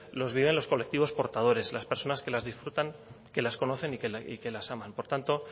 los viven los colectivos portadores las personas que las disfrutan que las conocen y que las aman por tanto